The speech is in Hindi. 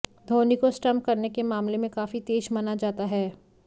धोनी को स्टम्प करने के मामले में काफी तेज माना जाता है